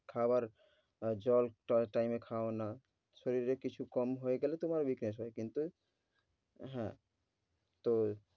খাওয়ার আহ জল টল time এ খাও না, শরীরে কিছু কম হয়ে গেলে তোমার বিকাশ হয় কিন্তু হ্যাঁ তো,